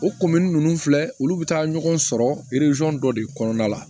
O ninnu filɛ olu bɛ taa ɲɔgɔn sɔrɔ dɔ de kɔnɔna la